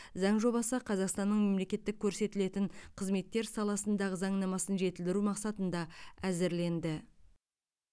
заң жобасы қазақстанның мемлекеттік көрсетілетін қызметтер саласындағы заңнамасын жетілдіру мақсатында әзірленді